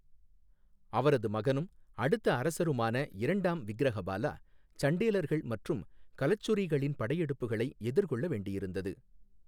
அவரது மகனும், அடுத்த அரசருமான இரண்டாம் விக்கிரஹபாலா, சண்டேலர்கள் மற்றும் கலச்சுரீகளின் படையெடுப்புகளை எதிர்கொள்ள வேண்டியிருந்தது.